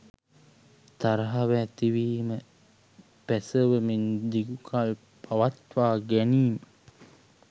තරහව ඇතිවීම, පැසවමින් දිගුකල් පවත්වා ගැනීම